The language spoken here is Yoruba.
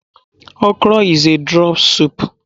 Okro is a draw soup.